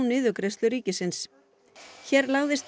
niðurgreiðslu ríkisins hér lagðist